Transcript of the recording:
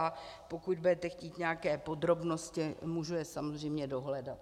A pokud budete chtít nějaké podrobnosti, můžu je samozřejmě dohledat.